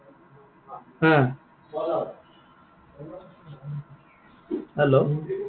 হা, hello